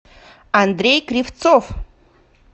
андрей кривцов